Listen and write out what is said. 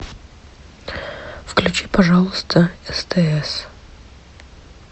включи пожалуйста стс